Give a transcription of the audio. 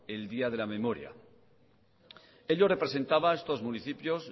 el día de la memoria ello representaba estos municipios